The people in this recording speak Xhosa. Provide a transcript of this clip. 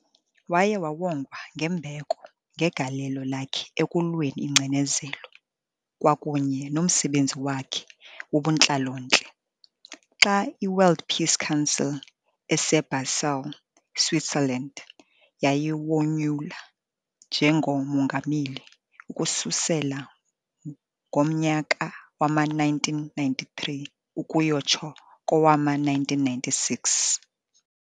Waye wawongwa ngembeko ngegalelo lakhe ekulweni ingcinezelo kwakunye nomsebenzi wakhe wobuntlalo-ntle, xa i-World Peace Council eseBasel eSwitzerland yayimonyula njngoMongameli ukususela ngomnyaka wama-1993 ukuyotsho kowama-1996.